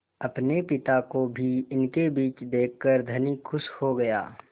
अपने पिता को भी इनके बीच देखकर धनी खुश हो गया